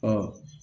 Ɔ